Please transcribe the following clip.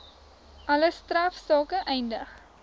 alle strafsake eindig